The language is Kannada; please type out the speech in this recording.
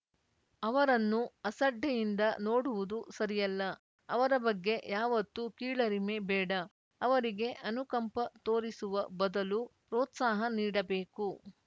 ಅವರನ್ನು ಅಸಡ್ಡೆಯಿಂದ ನೋಡುವುದು ಸರಿಯಲ್ಲ ಅವರ ಬಗ್ಗೆ ಯಾವತ್ತೂ ಕೀಳರಿಮೆ ಬೇಡ ಅವರಿಗೆ ಅನುಕಂಪ ತೋರಿಸುವ ಬದಲು ಪ್ರೋತ್ಸಾಹ ನೀಡಬೇಕು